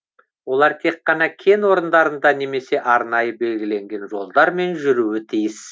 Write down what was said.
олар тек қана кен орындарында немесе арнайы белгіленген жолдармен жүруі тиіс